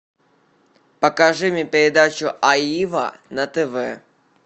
покажи мне передачу аива на тв